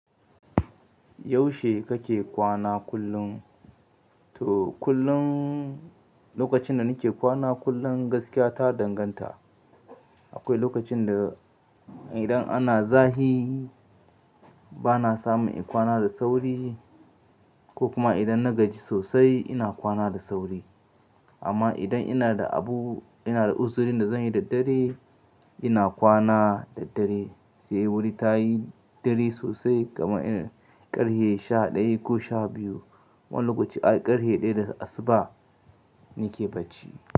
Yaushe kake kwana kullum? To kullum lokacin da nike kwana kullum gaskiya ta danganta. Akwai lokacin da idan ana zahi bana samun in kwana da sauri ko kuma idan na gaji sosai ina kwana da sauri. Amma idan ina da abu ina da usuri da zan yi da dare ina kwana da dare sai wuri tayi dare sosai kamar irin ƙarhe sha ɗaya ko sha biyu. Wani lokaci ai ƙarhe ɗaya da asuba nike bacci.